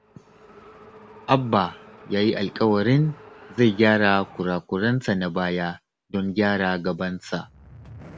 Abba ya yi alƙawarin zai gyara kura-kurensa na baya don gyara gabansa